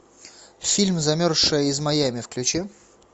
фильм замерзшая из майами включи